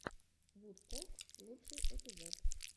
вудкок лучший эпизод